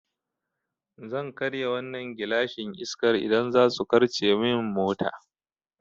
Zan karya wannan gilashin Iskar idan zasu karce min mota